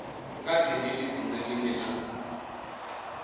nga tendeli dzina ḽine ḽa